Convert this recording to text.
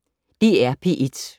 DR P1